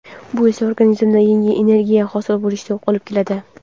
bu esa organizmda yangi energiya hosil bo‘lishiga olib keladi.